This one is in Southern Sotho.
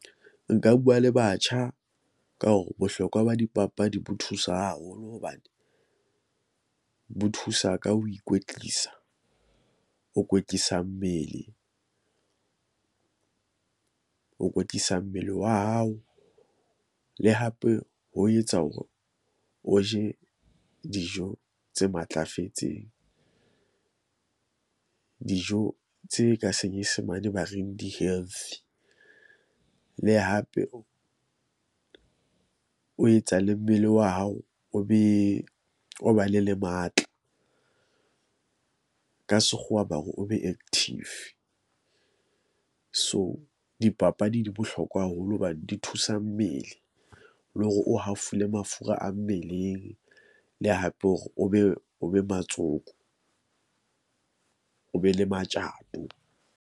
Nka bua le batjha ka hore bohlokwa ba dipapadi bo thusa haholo hobane bo thusa ka ho ikwetlisa. O kwetlisa mmele , o kwetlisa mmele wa hao le hape ho etsa hore o je dijo tse matlafetseng. Dijo tse ka senyesemane ba reng di healthy le hape o o etsa le mmele wa hao, o be o ba le le matla. Ka sekgowa ba hore o be active. So, dipapadi di bohlokwa haholo hobane di thusa mmele le hore o hafole mafura a mmeleng le hape hore o be o be , o be le matjato.